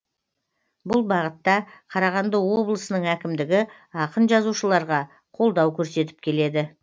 бұл бағытта қарағанды облысының әкімдігі ақын жазушыларға қолдау көрсетіп келеді